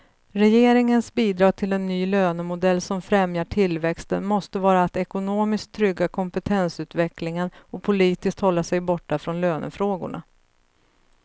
Regeringens bidrag till en ny lönemodell som främjar tillväxten måste vara att ekonomiskt trygga kompetensutvecklingen och politiskt hålla sig borta från lönefrågorna.